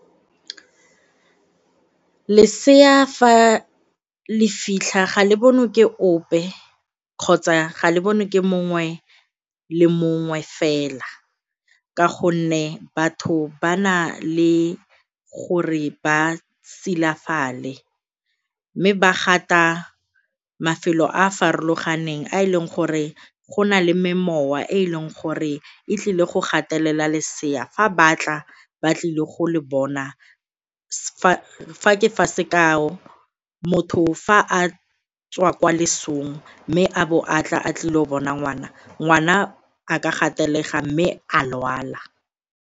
Lesea fa le fitlha, ga le bonwe ke ope kgotsa ga le bone ke mongwe le mongwe fela ka gonne batho ba na le gore ba silafale mme ba gata mafelo a a farologaneng a e leng gore go na le me mowa e e leng gore e tlile go gatelela lesea fa batla ba tlile go le bona, fa ke fa sekao, motho fa a tswa kwa lesong mme a bo a tla a tlile go bona ngwana, ngwana a ka gatelega mme a lwala.